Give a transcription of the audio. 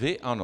Vy ano.